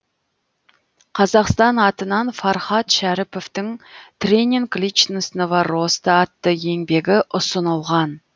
қазақстан атынан фархат шәріповтың тренинг личностного роста атты еңбегі ұсынылған